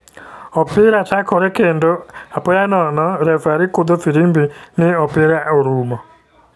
Opira chakore kendo, apoya nono refari kudho firimbi ni opira orumo